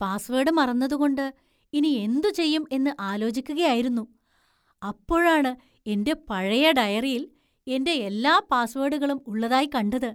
Password മറന്നതുകൊണ്ട് ഇനി എന്തുചെയ്യും എന്ന് ആലോചിക്കുകയായിരുന്നു; അപ്പോഴാണ് എന്‍റെ പഴയ ഡയറിയില്‍ എൻ്റെ എല്ലാ പാസ്വേഡുകളും ഉള്ളതായി കണ്ടത്.